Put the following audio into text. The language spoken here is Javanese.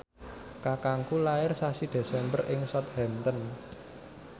kakangku lair sasi Desember ing Southampton